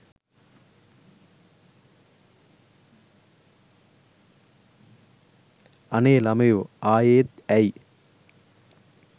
අනේ ළමයෝ ආයේත් ඇයි